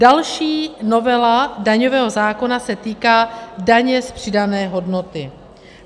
Další novela daňového zákona se týká daně z přidané hodnoty.